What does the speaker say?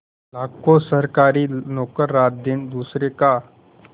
लाखों सरकारी नौकर रातदिन दूसरों का